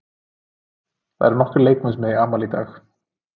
Það eru nokkrir leikmenn sem eiga afmæli í dag.